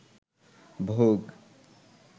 ভোগ